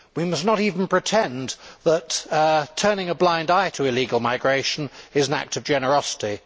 We must not even pretend that turning a blind eye to illegal migration is an act of generosity.